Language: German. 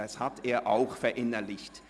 Das hat er auch verinnerlicht.